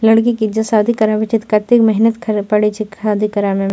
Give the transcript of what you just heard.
लड़की के जे शादी कराबे छै ते कते मेहनत करे पड़े छै शादी करावे में।